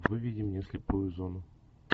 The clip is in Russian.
выведи мне слепую зону